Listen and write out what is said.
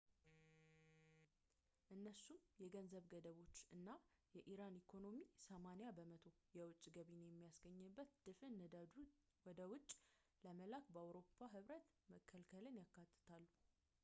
እነሱም የገንዘብ ገደቦችን እና የኢራን ኢኮኖሚ 80% የውጭ ገቢን የሚያገኝበትን ድፍድፍ ነዳጅ ወደ ውጭ ለመላክ በአውሮፓ ህብረት መከልከልን ያካትታሉ ፡፡